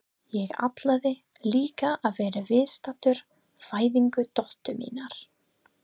Ég ætlaði líka að vera viðstaddur fæðingu dóttur minnar.